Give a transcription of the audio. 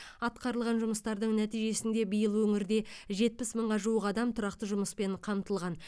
атқарылған жұмыстардың нәтижесінде биыл өңірде жетпіс мыңға жуық адам тұрақты жұмыспен қамтылған